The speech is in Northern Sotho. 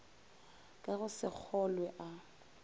ka go se kgolwe a